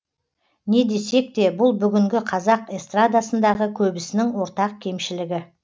не десек те бұл бүгінгі қазақ эстрадасындағы көбісінің ортақ кемшілігі